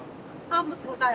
Hamımız burdayıq.